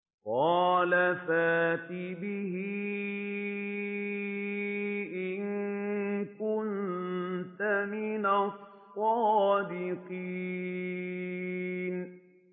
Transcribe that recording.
قَالَ فَأْتِ بِهِ إِن كُنتَ مِنَ الصَّادِقِينَ